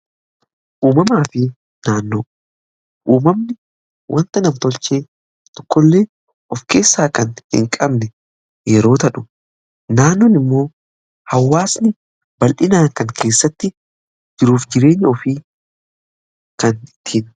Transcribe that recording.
uumamaa fi naannoo , uumamni wanta nam tolchee tokkollee of keessaa kan hin qabne yerootahu naannoon immoo hawaasni bal'inaa kan keessatti jiruuf jireenya ofii kan ittiin